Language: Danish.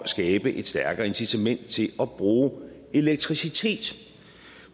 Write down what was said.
skabe et stærkere incitament til at bruge elektricitet